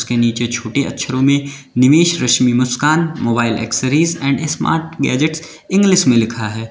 नीचे छोटे अक्षरों में निवेश Rashmi Muskan mobile accessories and smart gadgets English में लिखा है।